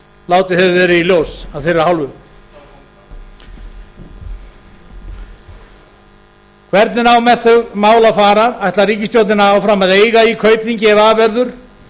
látið hefur verið í ljós af þeirra hálfu hvernig á með þau mál að fara ætlar ríkisstjórn áfram að eiga í kaupþingi ef af verður